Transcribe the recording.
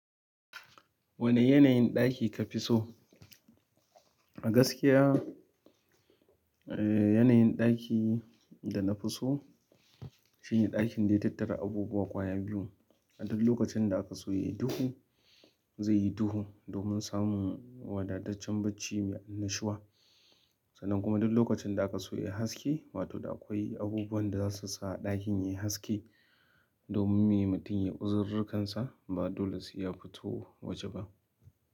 Wane yanayin ɗaki ka fi so? A gaskiya, eh, yanayin ɗaki da na fi so shine ɗakin da ya tattara abubuwa ƙwaya biyu. A duk lokacin da aka so ya yi duhu, zai yi duhu domin samun wadataccen bacci mai annashuwa. Sannan kuma duk lokacin da aka so yayi haske, wato da akwai abubuwan da zasu sa ɗakin yayi haske domin mai mutum ya uzururrikansa ba dole sai ya fito waje ba.